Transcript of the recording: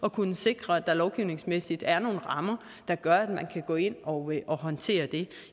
at kunne sikre at der lovgivningsmæssigt er nogle rammer der gør at man kan gå ind og håndtere det